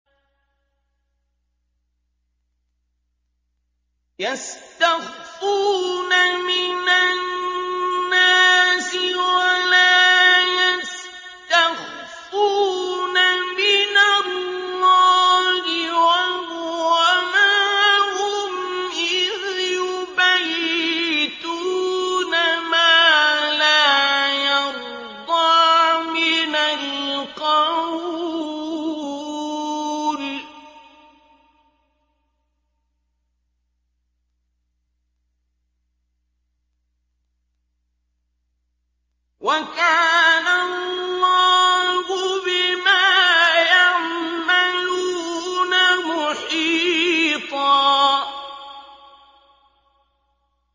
يَسْتَخْفُونَ مِنَ النَّاسِ وَلَا يَسْتَخْفُونَ مِنَ اللَّهِ وَهُوَ مَعَهُمْ إِذْ يُبَيِّتُونَ مَا لَا يَرْضَىٰ مِنَ الْقَوْلِ ۚ وَكَانَ اللَّهُ بِمَا يَعْمَلُونَ مُحِيطًا